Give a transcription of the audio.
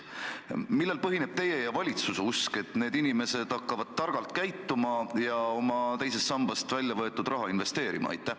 Millel põhineb teie ja valitsuse usk, et need inimesed hakkavad targalt käituma ja oma teisest sambast väljavõetud raha investeerima?